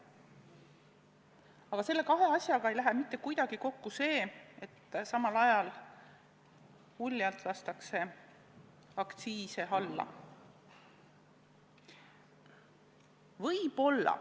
Ent nende kahe asjaga ei lähe mitte kuidagi kokku see, et samal ajal uljalt lastakse aktsiise alla.